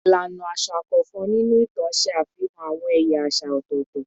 Ilana aṣa kọọkan ninu itan ṣe afihan awọn ẹya aṣa ọtọtọ